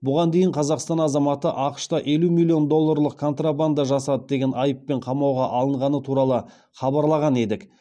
бұған дейін қазақстан азаматы ақш та елу миллион долларлық контрабанда жасады деген айыппен қамауға алынғаны туралы хабарлаған едік